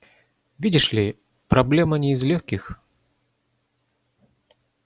видишь ли проблема не из лёгких